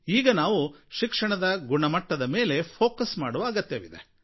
ಈಗ ನಾವು ಶಿಕ್ಷಣದ ಗುಣಮಟ್ಟದ ಮೇಲೆ ಕೇಂದ್ರೀಕರಿಸುವ ಅಗತ್ಯವಿದೆ